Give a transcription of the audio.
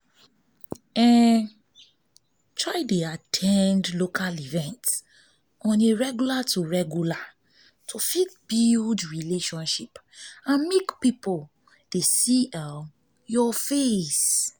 at ten d local events on a regular to regular to fit build relationship and make pipo dey see um your um face